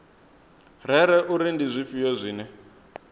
rere uri ndi zwifhio zwine